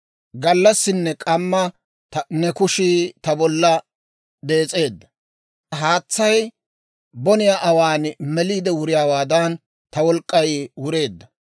Gallassinne k'amma ne kushii ta bolla dees'eedda. Haatsay boniyaa awaan meliide wuriyaawaadan, ta wolk'k'ay wureedda.